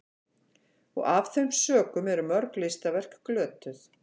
af þeim sökum eru mörg listaverk glötuð